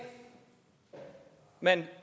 man